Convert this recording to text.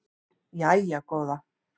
Jæja góða